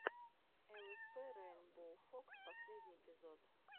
лспрейнбоуфокс последний эпизод